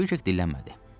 Kvik dillənmədi.